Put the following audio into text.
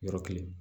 Yɔrɔ kelen